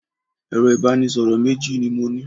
Ẹ̀rọ ìbánisọ̀rọ̀ méjì ni mo ní.